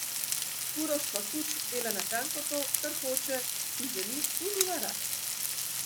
Uroš Fakuč dela natanko to, kar hoče, si želi in ima rad.